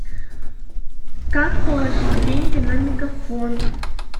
как положить деньги на мегафон